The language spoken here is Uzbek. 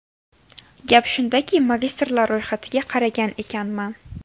Gap shundaki, magistrlar ro‘yxatiga qaragan ekanman.